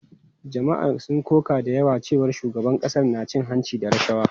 Jama’a sun koka da cewa shugaban ƙasar na cin hanci da rashawa.